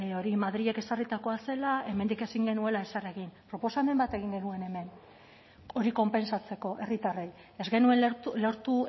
hori madrilek ezarritako zela hemendik ezin genuela ezer egin proposamen bat egin genuen hemen hori konpentsatzeko herritarrei ez genuen lortu